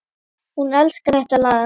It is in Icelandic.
Hún elskar þetta lag!